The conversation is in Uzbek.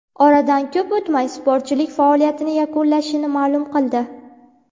Oradan ko‘p o‘tmay sportchilik faoliyatini yakunlashini ma’lum qildi.